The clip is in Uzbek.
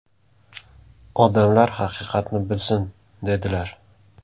Odamlar haqiqatni bilsin!” dedilar.